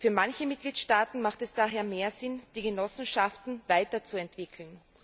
Für manche Mitgliedstaaten hat es daher mehr Sinn, die Genossenschaften weiterzuentwickeln.